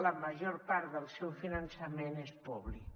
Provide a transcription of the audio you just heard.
la major part del seu finançament és públic